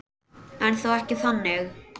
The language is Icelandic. En þó ekki þannig.